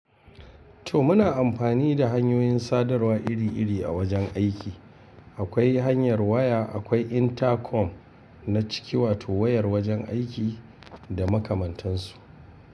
To muna amfani da hanyoyin sadarwa iri-iri a wajen aiki. Akwai hanyar waya, akwai intercom na ciki wato wayar wajen aiki da makamantansu.